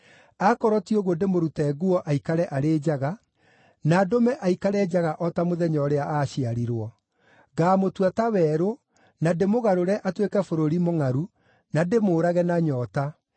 Akorwo ti ũguo ndĩmũrute nguo aikare arĩ njaga, na ndũme aikare njaga o ta mũthenya ũrĩa aaciarirwo; ngaamũtua ta werũ, na ndĩmũgarũre atuĩke bũrũri mũngʼaru, na ndĩmũũrage na nyoota.